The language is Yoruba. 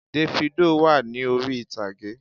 Dèfídò wà ní orí ìtàgé